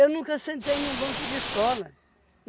nunca sentei num banco de escola.